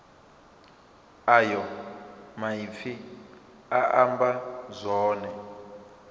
ayo maipfi a amba zwone